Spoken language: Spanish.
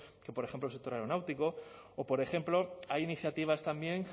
que por ejemplo el sector aeronáutico o por ejemplo hay iniciativas también